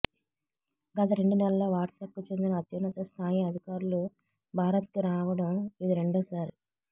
గత రెండు నెలల్లో వాట్సాప్కు చెందిన అత్యున్నత స్థాయి అధికారులు భారత్కు రావడం ఇది రెండోసారి